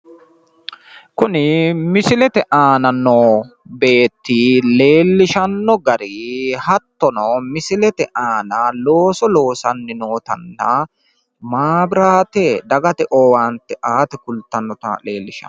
kuni misilete aana noo beetti leellishshanno gari hattono misilete aana loosso loosanni nootanna maabiraate dagate owaante aate kultannota leellishanno.